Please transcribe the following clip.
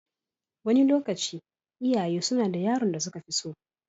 Wani lokaci, iyaye suna da yaron da suka fi so.